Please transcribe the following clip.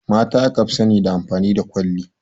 Mata aka fi sani da amfani da kwalli